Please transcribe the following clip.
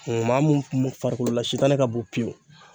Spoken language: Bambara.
Maa mun farikolo la sitanɛ ka bon pewu